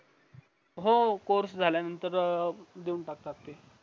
हो course झल्या नतंर देऊन टाकतात